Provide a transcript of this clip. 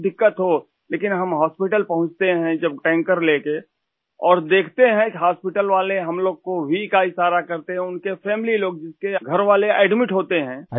کچھ بھی پریشانی ہو لیکن ہم اسپتال پہنچتے ہیں ، جب ٹینکر لے کر اور دیکھتے ہیں کہ اسپتال والے ہم لوگوں کو دیکھ کر وی کا اشارہ کرتے ہیں ، اُس خاندان کے لوگ بھی ، جن کے گھر والے اسپتال میں داخل ہیں